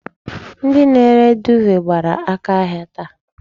Ndi na-ere duuve gbara aka ahia taa.